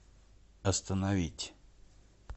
остановить